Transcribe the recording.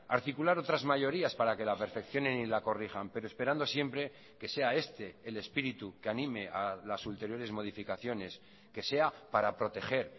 articular otras mayorías para que la perfeccionen y la corrijan pero esperando siempre que sea este el espíritu que anime a las anteriores modificaciones que sea para proteger